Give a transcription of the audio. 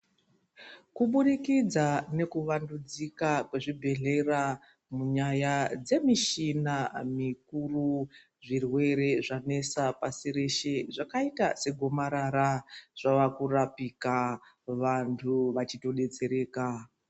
Kuburikidza nekuwandudzika kwezvibhehlera munyaya dzemishina mikuru zvirwere zvanesa pasi reshe zvakaita segonarara zvavakurapika vanhu vachibetsereka.